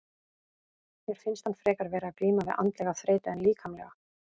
Mér finnst hann frekar vera að glíma við andlega þreytu en líkamlega.